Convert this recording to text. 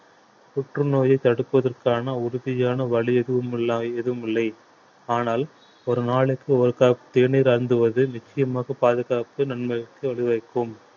புற்றுநோயை தடுப்பதற்கான உறுதியான வழி எதுவும் இல்லா எதுவும் இல்லை ஆனால் ஒரு நாளுக்கு ஒரு cup தேநீர் அருந்துவது நிச்சயமாக பாதுகாப்பு நன்மைக்கு வழிவகுக்கும்